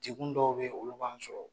degun dɔw bɛ yen, olu b'an sɔrɔ!